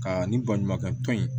Ka nin baɲumankɛ tɔn in